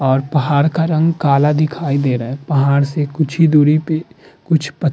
और पहाड़ का रंग काला दिखाई दे रहा है। पहाड़ से कुछ ही दूरी पे कुछ पत --